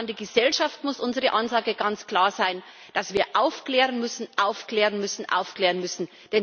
Und an die Gesellschaft muss unsere Ansage ganz klar sein, dass wir aufklären müssen, aufklären müssen, aufklären müssen!